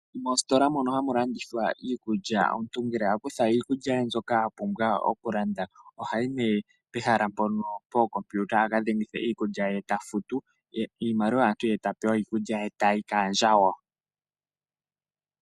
Moositola mono hamu landithwa iikulya, omuntu ngele a kutha iikulya yaye mbyoka a pumbwa okulanda, ohayi nee pookompiuta aka dhengithe iikulya ye, e ta futu iimaliwa yaantu, ye ta pewa iikulya ye e tayi kaandjawo.